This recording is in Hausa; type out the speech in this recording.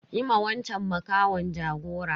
Yi ma wanchan makahon jagora.